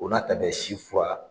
O n'a ta bɛɛ si fura